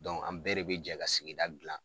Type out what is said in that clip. Dɔnku an bɛɛ de be jɛ ka sigida gilan